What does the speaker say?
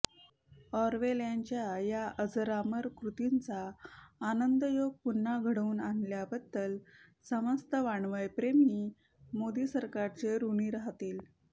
Orwell यांच्या या अजरामर कृतीचा आनंदयोग पुन्हा घडवून आणल्याबद्दल समस्त वाङ्मयप्रेमी मोदी सरकारचे ऋणी राहतील